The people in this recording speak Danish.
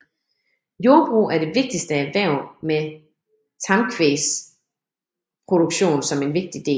Jordbrug er det vigtigste erhverv med tamkvægsproduktion som en vigtig del